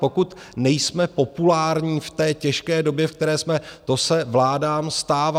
Pokud nejsme populární v této těžké době, ve které jsme, to se vládám stává.